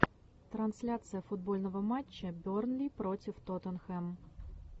трансляция футбольного матча бернли против тоттенхэм